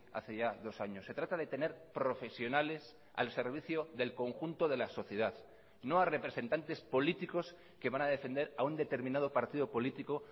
hace ya dos años se trata de tener profesionales al servicio del conjunto de la sociedad no a representantes políticos que van a defender a un determinado partido político